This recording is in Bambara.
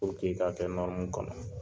i k'a kɛ kɔnɔ